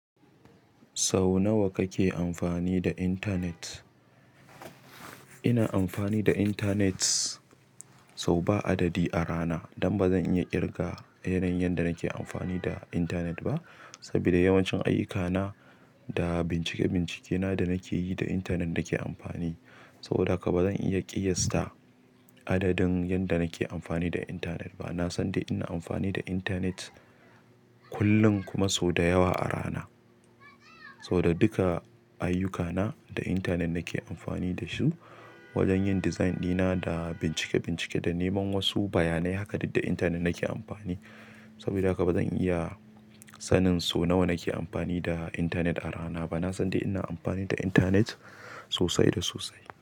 Sau nawa kake amfani da internet? Ina amfani da internet sau ba adadi a rana. Don ba zan iya ƙirga yanayin yadda nake amfani da internet ba, saboda yawancin ayyukana da bincike-bincikena da nake yi da internet nake amfani. Saboda haka bazan iya kiyasta adadin yanda nake amfani da internet ba na san dai ina amfani da internet kullum kuma sau da yawa a rana. Saboda duka ayyukana da internet nake amfani da su wajen yin design ɗina da bincike-bincike da neman wasu bayanai. Haka duk da internet nake amfani. Saboda haka ba zan iya sanin so nawa nake amfani da internet a rana ba. Na san dai ina amfani da internet sosai da sosai.